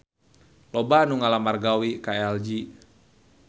Loba anu ngalamar gawe ka LG